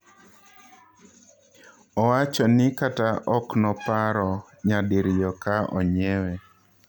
Owachoni kata oknoparo nyadiriyo ka onyiewe.